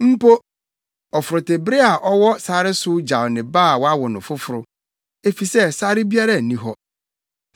Mpo ɔforotebere a ɔwɔ sare so gyaw ne ba a wawo no foforo, efisɛ sare biara nni hɔ.